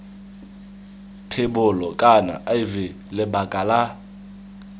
thebolo kana iv lebaka la